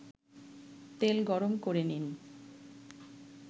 তেলগরম করে নিন